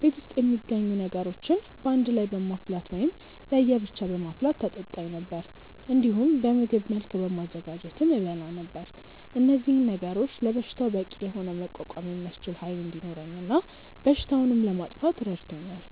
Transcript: ቤት ውስጥ የሚገኙ ነገሮችን በአንድ ላይ በማፍላት ወይም ለየ ብቻ በማፍላት ታጠጣኝ ነበር። እንዲሁም በምግብ መልክ በማዘጋጀትም እበላ ነበር። እነዚህ ነገሮች ለበሽታው በቂ የሆነ መቋቋም የሚያስችል ኃይል እንዲኖረኝ እና በሽታውንም ለማጥፋት ረድቶኛል።